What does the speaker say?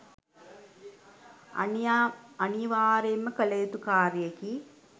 අනිවාර්යයෙන් කළ යුතු කාර්යයකි.